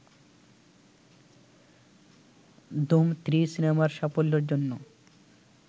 ধুম three সিনেমার সাফল্যের জন্য